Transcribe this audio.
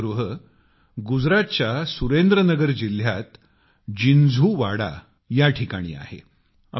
हे दीपगृह गुजरातच्या सुरेंद्र नगर जिल्ह्यात जिन्झुवाडा नावाच्या ठिकाणी आहे